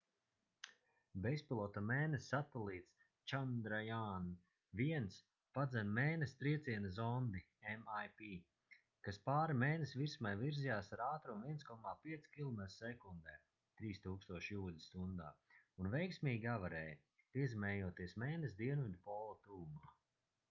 bezpilota mēness satelīts chandrayaan-1 padzen mēness trieciena zondi mip kas pāri mēness virsmai virzījās ar ātrumu 1,5 kilometri sekundē 3000 jūdzes stundā un veiksmīgi avarēja piezemējoties mēness dienvidu pola tuvumā